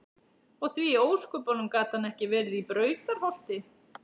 Og því í ósköpunum gat hann ekki verið í Brautarholti?